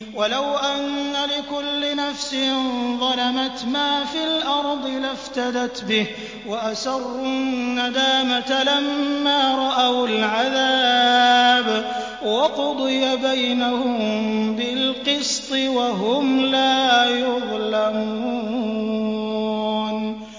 وَلَوْ أَنَّ لِكُلِّ نَفْسٍ ظَلَمَتْ مَا فِي الْأَرْضِ لَافْتَدَتْ بِهِ ۗ وَأَسَرُّوا النَّدَامَةَ لَمَّا رَأَوُا الْعَذَابَ ۖ وَقُضِيَ بَيْنَهُم بِالْقِسْطِ ۚ وَهُمْ لَا يُظْلَمُونَ